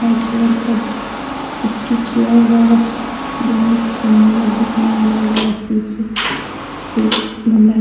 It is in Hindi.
वाइट कलर का पेंटिंग किया हुआ है | में सुन्दर देखने में लग रहा है --